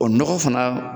O nɔgɔ fana